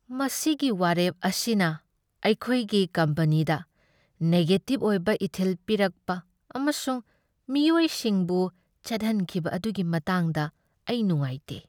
ꯃꯁꯤꯒꯤ ꯋꯥꯔꯦꯞ ꯑꯁꯤꯅ ꯑꯩꯈꯣꯏꯒꯤ ꯀꯝꯄꯅꯤꯗ ꯅꯦꯒꯦꯇꯤꯕ ꯑꯣꯏꯕ ꯏꯊꯤꯜ ꯄꯤꯔꯛꯄ ꯑꯃꯁꯨꯡ ꯃꯤꯑꯣꯏꯁꯤꯡꯕꯨ ꯆꯠꯍꯟꯈꯤꯕ ꯑꯗꯨꯒꯤ ꯃꯇꯥꯡꯗ ꯑꯩ ꯅꯨꯡꯉꯥꯏꯇꯦ꯫